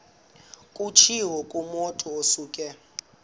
kutshiwo kumotu osuke